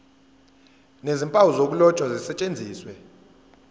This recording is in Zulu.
nezimpawu zokuloba zisetshenziswe